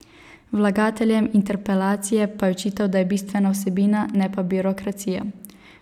Vlagateljem interpelacije pa je očital, da je bistvena vsebina, ne pa birokracija.